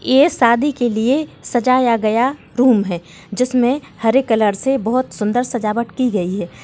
ये शादी के लिए सजाया गया रूम है जिसमें हरे कलर से बहुत सुंदर सजावट की गई है।